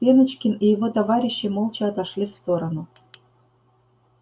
пеночкин и его товарищи молча отошли в сторону